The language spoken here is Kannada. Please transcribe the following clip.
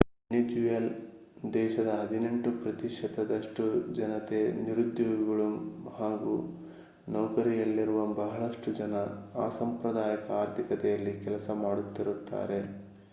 ವೆನೆಜ್ಯುಲನ್ ದೇಶದ ಹದಿನೆಂಟು ಪ್ರತಿಶತದಷ್ಟು ಜನತೆ ನಿರುದ್ಯೋಗಿಗಳು ಹಾಗೂ ನೌಕರಿಯಲ್ಲಿರುವ ಬಹಳಷ್ಟು ಜನ ಅಸಾಂಪ್ರದಾಯಿಕ ಆರ್ಥಿಕತೆಯಲ್ಲಿ ಕೆಲಸ ಮಾಡುತ್ತಿದ್ದಾರೆ